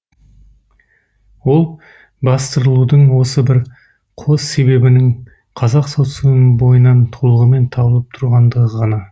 ол бастырылудың осы бір қос себебінің қазақ социумының бойынан толығымен табылып тұрғандығы ғана